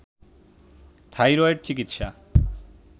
thyroid চিকিৎসা